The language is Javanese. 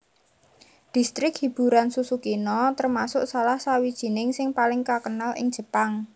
Distrik hiburan Susukino termasuk salahsawijining sing paling kakenal ing Jepang